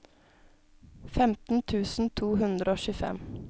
femten tusen to hundre og tjuefem